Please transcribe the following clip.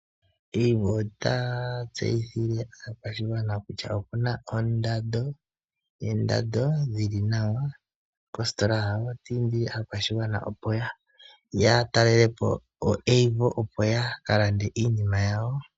Avo ota tseyithile aakwashigwana kutya opuna oondado dhili nawa kostola yawo. Otiindile aakwashigwana opo ya talalepo oAvo opo yaka lande iinima yawo.